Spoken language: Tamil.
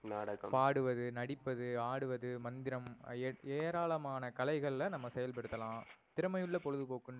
நாடகம், பாடுவது, நடிப்பது, ஆடுவது, மந்திரம் ஏராளமான கலைகள்ல நம்ப செயல் படுத்தலாம் திறமையுள்ள பொழுதுபோக்குனு